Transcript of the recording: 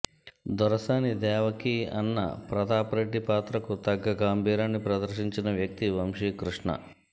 దొరసాని దేవకీ అన్న ప్రతాపరెడ్డి పాత్రకు తగ్గ గంభీరాన్ని ప్రదర్శించిన వ్యక్తి వంశీకృష్ణ